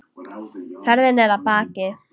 Ferðin er að baki.